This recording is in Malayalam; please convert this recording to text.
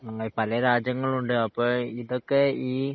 ഉം പലരാജ്യങ്ങളുവുണ്ട് അപ്പോ ഇതൊക്കെ ഈ